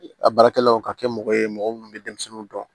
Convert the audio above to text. A baarakɛlaw ka kɛ mɔgɔ ye mɔgɔ minnu bɛ denmisɛnninw dɔn